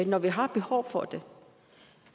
når vi har behov for det